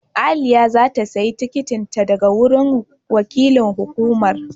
Aliyah za ta sayi tikitin ta daga wurin wakilin hukumar.